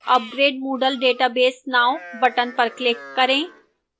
upgrade moodle database now button पर click करें